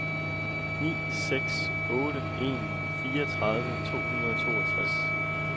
ni seks otte en fireogtredive to hundrede og toogtres